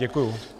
Děkuji.